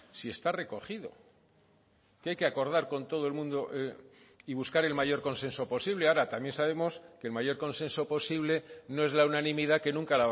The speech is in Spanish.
si está recogido que hay que acordar con todo el mundo y buscar el mayor consenso posible ahora también sabemos que el mayor consenso posible no es la unanimidad que nunca